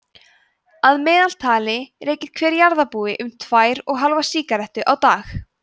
að meðaltali reykir hver jarðarbúi um tvær og hálfa sígarettu á dag